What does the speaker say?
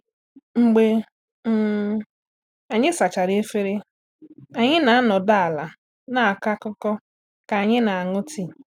. Mgbe um anyị sachara efere, anyị na-anọdụ ala na-akọ akụkọ ka anyị na-aṅụ tii.